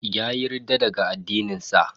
Yayi ridda daga addinin sa.